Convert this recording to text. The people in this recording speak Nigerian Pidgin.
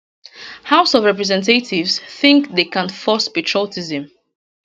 house of representatives think they can force patriotism